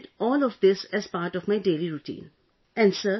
I incorporated all of this as part of my daily routine